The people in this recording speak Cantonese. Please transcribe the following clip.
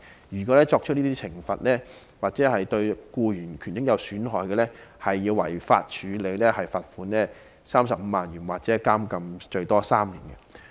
如果僱主作出懲罰或令僱員的權益受損，便屬違法，可被罰款35萬元或監禁最多3年。